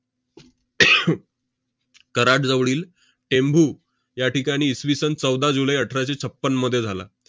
कराड जवळील टेम्भू या ठिकाणी इसवी सन चौदा जुलै अठराशे छपन्नमध्ये झाला.